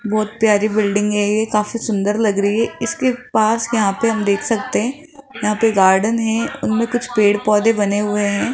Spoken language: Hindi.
बहुत प्यारी बिल्डिंग है यह काफी सुंदर लग रही है इसके पास यहां पे हम देख सकते हैं यहां पे गार्डन है उनमें कुछ पेड़ पौधे बने हुए हैं।